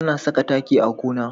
Ana saka taki a gona.